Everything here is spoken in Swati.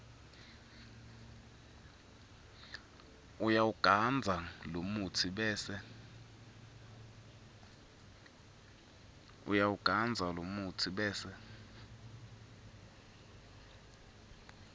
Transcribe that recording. uyawugandza lomutsi bese